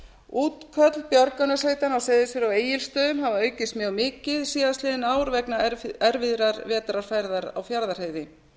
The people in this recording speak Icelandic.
útköll björgunarsveitanna á seyðisfirði og egilsstöðum hafa aukist mjög mikið síðastliðin ár vegna erfiðrar vetrarfærðar á fjarðarheiði